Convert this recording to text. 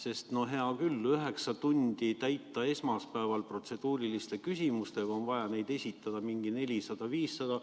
Hea küll, selleks et üheksa tundi täita esmaspäeval protseduuriliste küsimustega, on vaja neid esitada mingi 400–500.